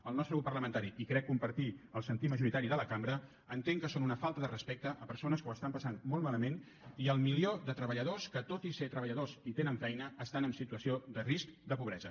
el nostre grup parlamentari i crec compartir el sentir majoritari de la cambra entenc que són una falta de respecte a persones que ho estan passant molt malament i al milió de treballadors que tot i ser treballadors i tenir feina estan en situació de risc de pobresa